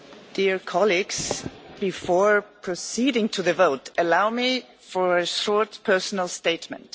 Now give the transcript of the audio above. Dear colleagues, before proceeding to the votes, allow me to make a short personal statement.